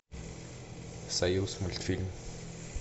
союзмультфильм